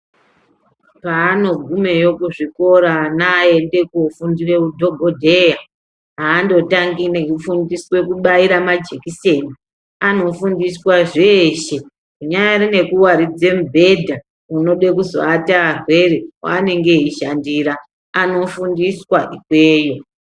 Paanogumeyo kuzvikora ana aende kofundire udhogodheya haandotangi nekufundiswa kubaira majekiseni. Anofundiswa zveshe zvinyari nekuvaridze mubhedha unode kuzoata arwere paanenge eishandira anofundiswa ikweyo.